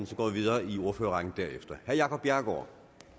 så går vi videre i ordførerrækken derefter herre jacob bjerregaard